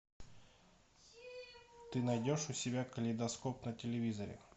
ты найдешь у себя калейдоскоп на телевизоре